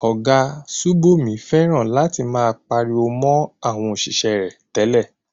Ọ̀gá Sùbòmí fẹ́ràn láti máa pariwo mo àwọn òṣìṣẹ́ rẹ̀ tẹ́lẹ̀.